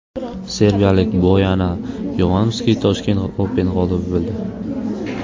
Serbiyalik Boyana Yovanovski Tashkent Open g‘olibi bo‘ldi.